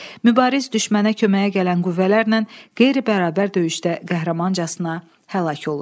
Mübariz düşmənə köməyə gələn qüvvələrlə qeyri-bərabər döyüşdə qəhrəmancasına həlak olur.